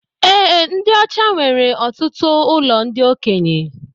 Ee, ndi ọchá nwere ọtụtụ ụlọ ndị okenye